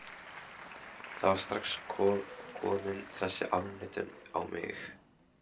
Það var strax komin þessi afneitun á mig.